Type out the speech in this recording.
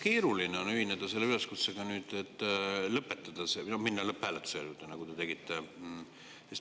Keeruline on ühineda selle üleskutsega, mille te tegite, et lõpetada see minna lõpphääletuse juurde.